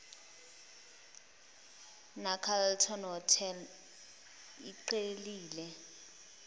necarlton hotel iqhelile